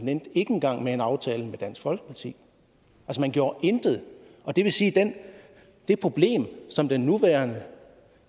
endte ikke engang med en aftale med dansk folkeparti man gjorde intet og det vil sige at det problem som den nuværende